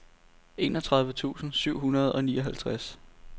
enogtredive tusind syv hundrede og nioghalvtreds